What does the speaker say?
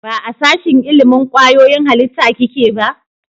Ba a sashen ilimin kwayoyin halitta kike ba?